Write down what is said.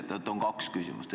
Seega mul on kaks küsimust.